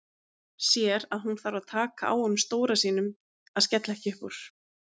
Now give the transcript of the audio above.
Sér að hún þarf að taka á honum stóra sínum að skella ekki upp úr.